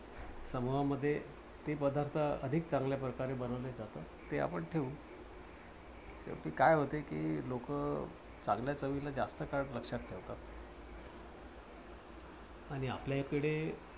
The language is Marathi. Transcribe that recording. समूहामध्ये जे पदार्थ अधिक चांगल्याप्रकारे बनवले जातात ते आपण ठेवू. कारण कि काय होत कि लोकं चांगल्या चवीला जास्त काळ लक्षात ठेवतात. आणि आपल्या हिकडे